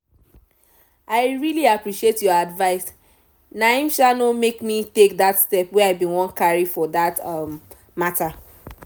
i really appreciate your advice naim um no make me take that step wey i bin wan carry for that um matter